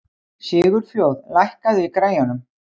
Sigurfljóð, lækkaðu í græjunum.